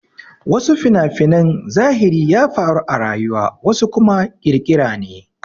Wasu fina-finan zahiri ya faru a rayuwa wasu kuma ƙirƙira ne.